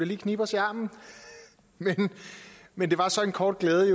lige knibe os i armen men det var så en kort glæde